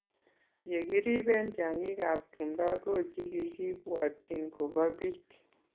ye kiriben tiangik ab tumdo ko chikikibwatchin kobo bik